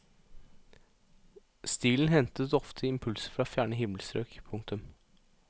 Stilen hentet ofte impulser fra fjerne himmelstrøk. punktum